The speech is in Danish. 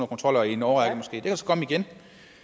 kontroller i en årrække